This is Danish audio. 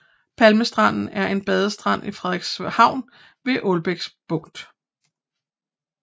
Palmestranden er en badestrand i Frederikshavn ved Ålbæk Bugt